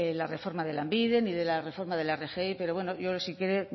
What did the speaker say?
la reforma de lanbide ni de la reforma de la rgi pero bueno yo si quiere